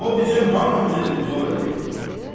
O bizim hamımızı dilxor eləyir.